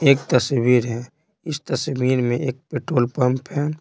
एक तस्वीर है इस तस्वीर में एक पेट्रोल पंप है।